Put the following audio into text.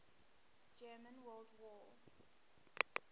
german world war